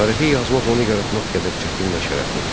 Tarixi yazmaq onu yaratmaq qədər çətin və şərəflidir.